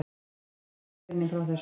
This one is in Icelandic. Morgunblaðið greinir frá þessu.